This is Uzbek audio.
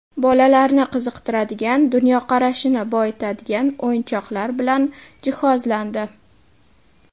Bolalarni qiziqtiradigan, dunyoqarashini boyitadigan o‘yinchoqlar bilan jihozlandi.